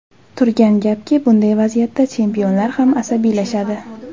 Turgan gapki, bunday vaziyatda chempionlar ham asabiylashadi.